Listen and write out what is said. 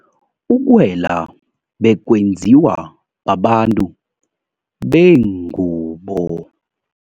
Ukwela bekwenziwa babantu bengubo.